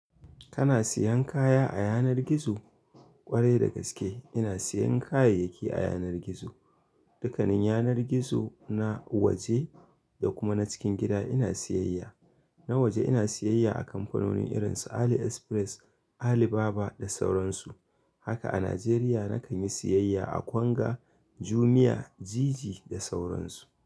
Kana siyan kaya a yanar gizo? Kwarai da gaske ina siyan kayayyaki a yanar gizo. Dukkanin yanar gizo na waje da kuma na cikin gida ina siyayya. Na waje ina siyayya a kamfanoni irin su Ali Express, Ali Baba da sauran su. Haka a Najeriya na kan yi siyayya a Konga, Jumia, Jiji da sauran su.